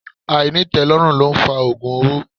Ainitelorun lo ń fa ogun owó.